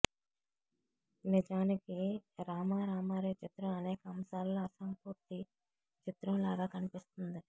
నిజానికి రామారామారే చిత్రం అనేక అంశాల్లో అసంపూర్తి చిత్రంలాగా కనిపిస్తుంది